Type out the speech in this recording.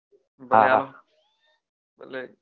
હા